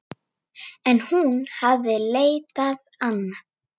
Thomas yppti öxlum.